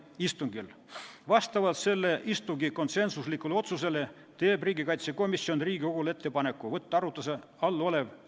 Kui Riigikogu võtab muutmise seaduse muutmata kujul vastu, siis tulenevalt Eesti Vabariigi põhiseaduse §-st 107 kuulutab Vabariigi President seaduse välja või pöördub Riigikohtu poole ettepanekuga tunnistada seadus põhiseadusega vastuolus olevaks.